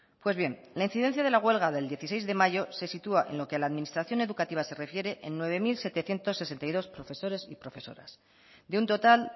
pues bien la incidencia de la huelga del dieciséis de mayo se sitúa en lo que la administración educativa se refiere en nueve mil setecientos sesenta y dos profesores y profesoras de un total